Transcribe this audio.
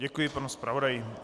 Děkuji panu zpravodaji.